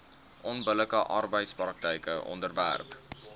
onbillike arbeidspraktyke onderwerp